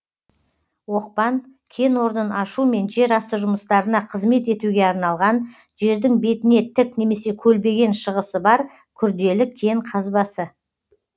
оқпан кен орнын ашу мен жер асты жұмыстарына қызмет етуге арналған жердің бетіне тік немесе көлбеген шығысы бар күрделі кен қазбасы